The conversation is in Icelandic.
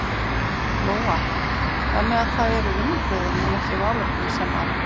Lóa: Þannig að það eru vinnubrögðin en ekki málefnin sem að?